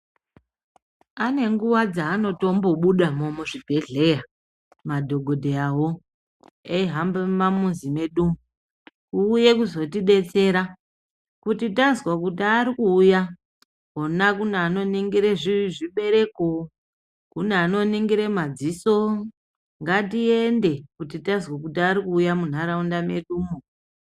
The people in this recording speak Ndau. Ane nguwa dzaatombobudamo muzvibhedhleya madhokodheyawo eihambe mumamizi medu kuuye kuzotidetsera kuti tazwe kuti ari kuuya wona kune anoningire zvibereko kune anoningire madziso ngatiende kuti tazwe kuti arikuuya mundaraunda medumo.